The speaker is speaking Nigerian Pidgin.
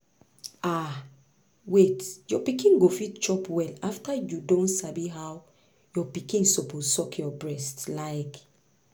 ah wait your pikin go fit chop well after you don sabi how your pikin suppose suck your breast like